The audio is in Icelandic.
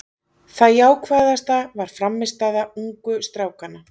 Það jákvæðasta var frammistaða ungu strákanna.